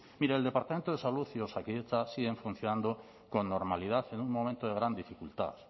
mire el departamento de salud y osakidetza siguen funcionando con normalidad en un momento de gran dificultad